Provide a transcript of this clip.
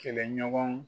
Kɛlɛɲɔgɔn